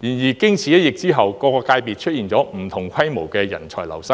然而，經此一疫後，各界別出現了不同規模的人才流失，